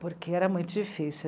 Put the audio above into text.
Porque era muito difícil.